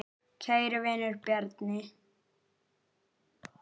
Kæri vinur, Bjarni.